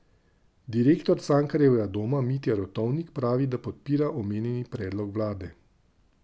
Direktor Cankarjevega doma Mitja Rotovnik pravi, da podpira omenjeni predlog vlade.